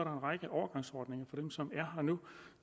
række overgangsordninger for dem som er her nu